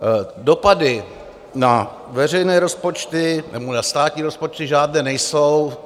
Dopady na veřejné rozpočty nebo na státní rozpočty žádné nejsou.